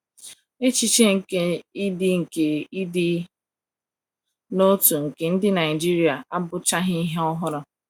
Echiche nke ịdị nke ịdị n’otu nke ndi Naijiria abụchaghị ihe ọhụrụ.